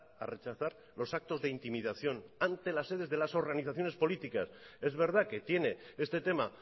a rechazar los actos de intimidación ante las sedes de las organizaciones políticas es verdad que tiene este tema